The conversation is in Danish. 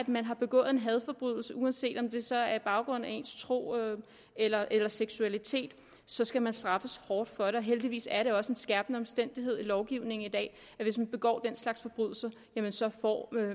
man har begået en hadforbrydelse uanset om det så er med baggrund i tro eller eller seksualitet så skal man straffes hårdt for det heldigvis er det også en skærpende omstændighed i lovgivningen i dag at hvis man begår den slags forbrydelser jamen så får